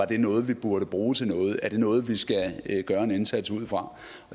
det er noget vi burde bruge til noget om det er noget vi skal gøre en indsats ud fra